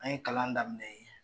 An ye kalan daminɛ yen.